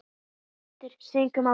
Er einhver skýring á þessu?